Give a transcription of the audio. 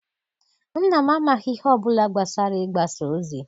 Nna m amaghị ihe ọ bụla gbasara igbasa ozi.